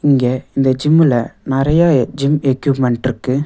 இங்க இந்த ஜிம்முல நெறையா ஜிம் எக்யூப்மென்ட்ருக்கு .